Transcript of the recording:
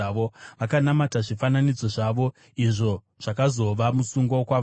Vakanamata zvifananidzo zvavo, izvo zvakazova musungo kwavari.